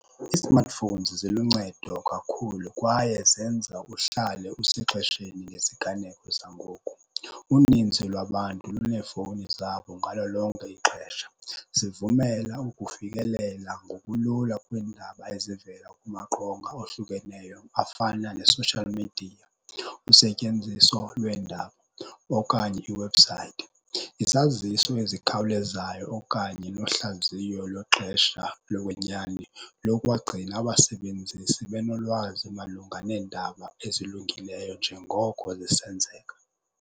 Ii-smartphones ziluncedo kakhulu kwaye zenza uhlale usexesheni ngeziganeko zangoku. Uninzi lwabantu luneefowuni zabo ngalo lonke ixesha. Zivumela ukufikelela ngokulula kweendaba ezivela kumaqonga ohlukeneyo afana ne-social media, usetyenziso lweendaba okanye iwebhusayithi. Izaziso ezikhawulezayo okanye nohlaziyo lwexesha lokwenyani lokwagcina abasebenzi sebenolwazi malunga neendaba ezilungileyo njengoko zisenzeka.